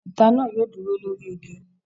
Ẹtà náà yóò dúró lórí igi.